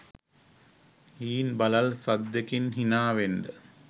හීන් බළල් සද්දෙකින් හිනා වෙන්න.